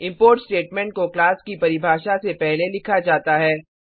import statement को class की परिभाषा से पहले लिखा जाता है